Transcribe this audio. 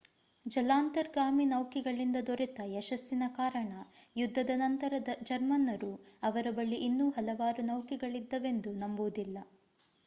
ಜಲಾಂತರ್ಗಾಮಿ ನೌಕೆಗಳಿಂದ ದೊರೆತ ಯಶಸ್ಸಿನ ಕಾರಣ ಯುದ್ಧದ ನಂತರ ಜರ್ಮನ್ನರು ಅವರ ಬಳಿ ಇನ್ನೂ ಹಲವಾರು ನೌಕೆಗಳಿದ್ದವೆಂದು ನಂಬುವುದಿಲ್ಲ